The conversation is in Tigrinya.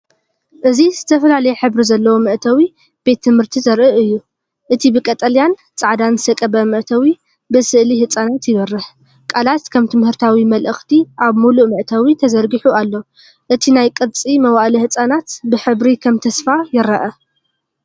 እዚ ዝተፈላለየ ሕብሪ ዘለዎ መእተዊ ቤት ትምህርቲ ዘርኢ እዩ። እቲ ብቀጠልያን ጻዕዳን ዝተቐብአ መእተዊ፡ ብስእሊ ህጻናት ይበርህ፤ ቃላት ከም ትምህርታዊ መልእኽቲ ኣብ ምሉእ መእተዊ ተዘርጊሑ ኣሎ። እቲ ናይ ቅርጺ መዋእለ ህጻናት ብሕብሪ ከም ተስፋ ይረአ።